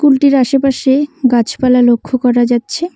কুলটির -টির আশেপাশে গাছপালা লক্ষ্য করা যাচ্ছে।